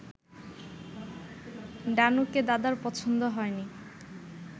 ডানোকে দাদার পছন্দ হয়নি